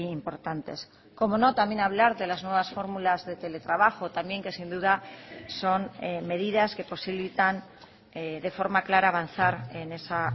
importantes cómo no también hablar de las nuevas fórmulas de teletrabajo también que sin duda son medidas que posibilitan de forma clara avanzar en esa